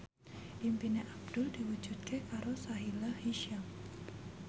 impine Abdul diwujudke karo Sahila Hisyam